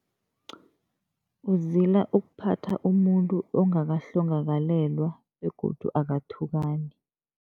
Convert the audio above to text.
Uzila ukuphatha umuntu ongakahlongakalelwa begodu akathukani.